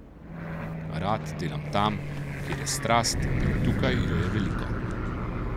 Rad delam tam, kjer je strast, in tukaj je je veliko.